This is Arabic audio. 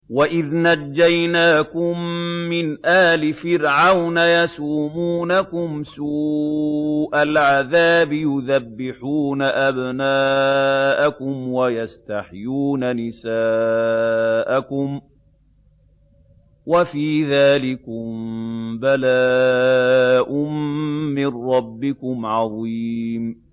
وَإِذْ نَجَّيْنَاكُم مِّنْ آلِ فِرْعَوْنَ يَسُومُونَكُمْ سُوءَ الْعَذَابِ يُذَبِّحُونَ أَبْنَاءَكُمْ وَيَسْتَحْيُونَ نِسَاءَكُمْ ۚ وَفِي ذَٰلِكُم بَلَاءٌ مِّن رَّبِّكُمْ عَظِيمٌ